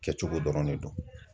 Kɛcogo dɔrɔn de don.